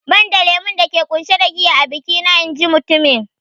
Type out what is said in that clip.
"Banda lemon dake ƙunshe da giya a biki na " in ji mutumin